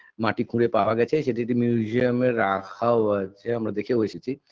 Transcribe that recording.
মাটি খুঁড়ে পাওয়া গেছে সেটা যদি museum -এ রাখাও আছে আমরা দেখেও এসেছি